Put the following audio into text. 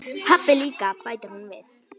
Pabbi líka, bætir hún við.